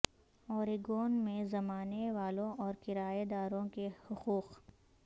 Oregon میں زمانے والوں اور کرایہ داروں کے حقوق